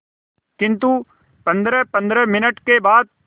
किंतु पंद्रहपंद्रह मिनट के बाद